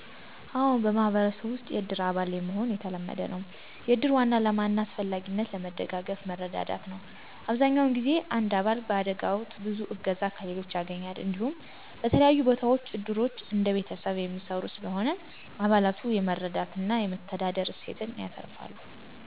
አዎን፣ በማህበረሰብ ውስጥ የእድር አባል መሆን የተለመደ ነው። የእድር ዋና ዓላማ እና አስፈላጊነትም ለመደጋገፍና መረዳዳት ነው። አብዛኛውን ጊዜ አንድ አባል በአደጋ ወቅት ብዙ እገዛ ከሌሎች ያገኛል። እንዲሁም፣ በተለያዩ ቦታዎች እድሮች እንደ ቤተሰብ የሚሰሩ ስለሆነ፣ አባላቱ የመረዳትና የመተዳደር እሴት ያተርፋሉ።